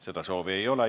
Seda soovi ei ole.